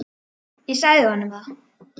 Ég sagði honum það.